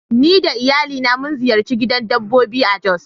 Ni da iyalina mun ziyarci gidan dabbobi a jos.